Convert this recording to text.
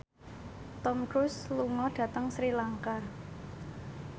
Tom Cruise lunga dhateng Sri Lanka